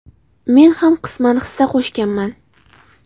Men ham qisman hissa qo‘shganman.